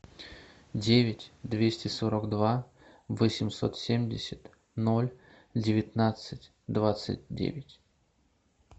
девять двести сорок два восемьсот семьдесят ноль девятнадцать двадцать девять